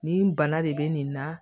Nin bana de bɛ nin na